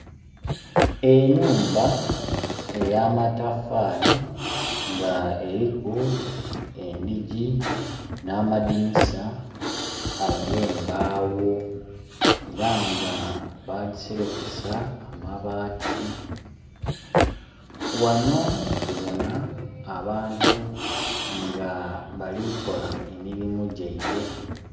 Enhumba eyamatafaali nga eliku endhigi n'amadinisa agembaawo, era nga bagiserekesa amabaati. Ghanho tubona abantu nga bali kukola emirirmu gyaibwe.